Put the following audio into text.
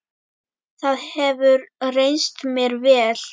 Það hefur reynst mér vel.